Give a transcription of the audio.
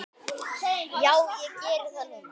Já, ég geri það núna.